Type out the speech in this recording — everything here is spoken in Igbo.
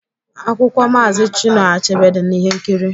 Akwụkwọ Maazi Chinua Achebe dị n'ihe nkiri